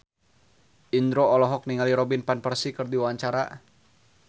Indro olohok ningali Robin Van Persie keur diwawancara